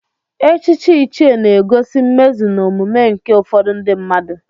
Echichi ichie na-egosi mmezu na omume nke ụfọdụ ndị mmadụ.